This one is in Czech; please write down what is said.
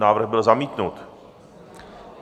Návrh byl zamítnut.